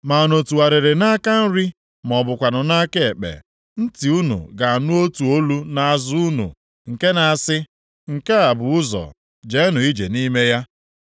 Ma unu tụgharịrị nʼaka nri ma ọ bụkwanụ nʼaka ekpe, ntị unu ga-anụ otu olu nʼazụ unu, nke na-asị, “Nke a bụ ụzọ, Jeenụ ije nʼime ya.”